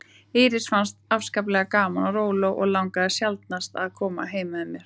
Írisi fannst afskaplega gaman á róló og langaði sjaldnast að koma með mér heim.